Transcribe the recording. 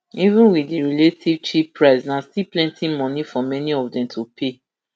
even wit di relative cheap price na still plenti money for many of dem to pay